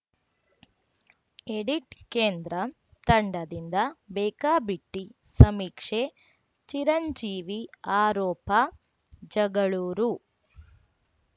edit ಕೇಂದ್ರ ತಂಡದಿಂದ ಬೇಕಾಬಿಟ್ಟಿಸಮೀಕ್ಷೆ ಚಿರಂಜೀವಿ ಆರೋಪ ಜಗಳೂರು